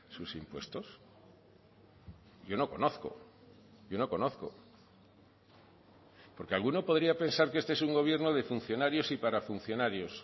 sus impuestos yo no conozco yo no conozco porque alguno podría pensar que este es un gobierno de funcionarios y para funcionarios